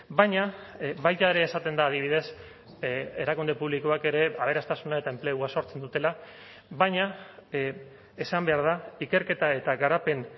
baina baita ere esaten da adibidez erakunde publikoak ere aberastasuna eta enplegua sortzen dutela baina esan behar da ikerketa eta garapen